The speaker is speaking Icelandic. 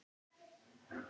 Ég fer út.